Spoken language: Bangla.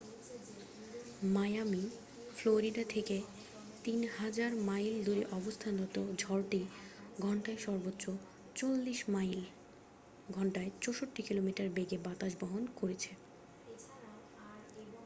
মায়ামি ফ্লোরিডা থেকে ৩০০০ মাইল দূরে অবস্থানরত ঝড়টি ঘন্টায় সর্বোচ্চ ৪০ মাইল ঘণ্টায় ৬৪ কিলোমিটার বেগের বাতাস বহন করেছে।